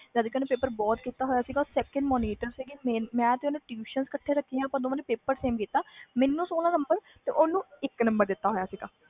ਜਦ ਕਿ ਓਹਨੇ ਪੇਪਰ ਬਹੁਤ ਕੀਤਾ ਹੋਇਆ ਸੀ second monitor ਸੀ ਮੈਂ ਤੇ ਓਹਨੇ ਇਕੱਠੇ ਨੇ tuition ਰਾਖੀ ਹੋਈ ਸੀ